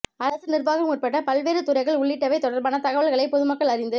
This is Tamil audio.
அரசு நிர்வாகம் உட்பட பல்வேறு துறைகள் உள்ளிட்டவை தொடர்பான தகவல்களை பொதுமக்கள் அறிந்து